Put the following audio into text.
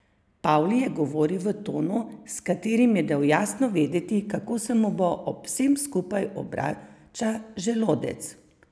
Pavli je govoril v tonu, s katerim je dal jasno vedeti, kako se mu ob vsem skupaj obrača želodec.